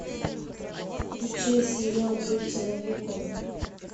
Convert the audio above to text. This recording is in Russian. включай сериал быть человеком